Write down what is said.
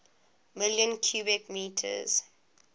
million cubic meters